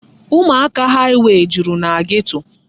Ụmụaka haịwey juru na geto.